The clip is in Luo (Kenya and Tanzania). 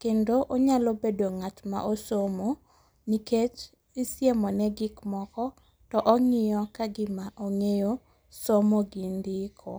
kendo onyalo bedo ng'atma osomo nikech isiemone gikmoko to ong'iyo kagima ong'eyo somo gi ndiko.